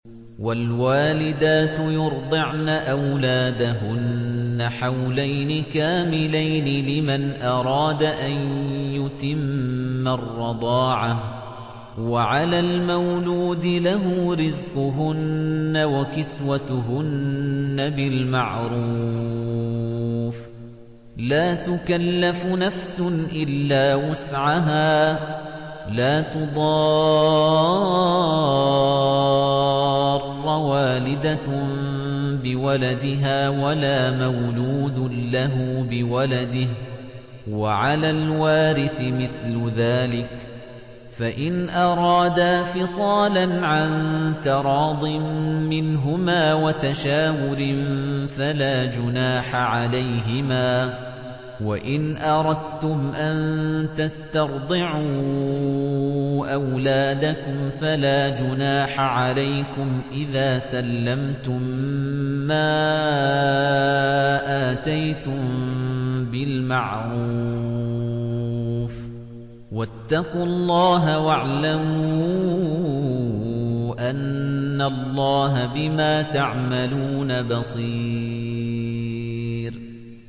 ۞ وَالْوَالِدَاتُ يُرْضِعْنَ أَوْلَادَهُنَّ حَوْلَيْنِ كَامِلَيْنِ ۖ لِمَنْ أَرَادَ أَن يُتِمَّ الرَّضَاعَةَ ۚ وَعَلَى الْمَوْلُودِ لَهُ رِزْقُهُنَّ وَكِسْوَتُهُنَّ بِالْمَعْرُوفِ ۚ لَا تُكَلَّفُ نَفْسٌ إِلَّا وُسْعَهَا ۚ لَا تُضَارَّ وَالِدَةٌ بِوَلَدِهَا وَلَا مَوْلُودٌ لَّهُ بِوَلَدِهِ ۚ وَعَلَى الْوَارِثِ مِثْلُ ذَٰلِكَ ۗ فَإِنْ أَرَادَا فِصَالًا عَن تَرَاضٍ مِّنْهُمَا وَتَشَاوُرٍ فَلَا جُنَاحَ عَلَيْهِمَا ۗ وَإِنْ أَرَدتُّمْ أَن تَسْتَرْضِعُوا أَوْلَادَكُمْ فَلَا جُنَاحَ عَلَيْكُمْ إِذَا سَلَّمْتُم مَّا آتَيْتُم بِالْمَعْرُوفِ ۗ وَاتَّقُوا اللَّهَ وَاعْلَمُوا أَنَّ اللَّهَ بِمَا تَعْمَلُونَ بَصِيرٌ